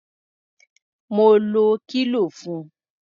Mo lo kílò fun.